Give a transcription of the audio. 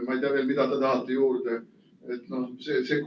Ma ei tea, mida te veel juurde tahate.